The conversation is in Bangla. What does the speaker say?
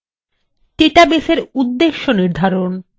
ডাটাবেসের উদ্দেশ্য নির্ধারণ